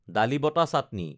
ডালি বটা চাটনি